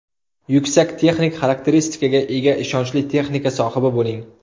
Yuksak texnik xarakteristikaga ega ishonchli texnika sohibi bo‘ling.